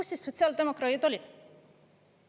Kus siis sotsiaaldemokraadid olid?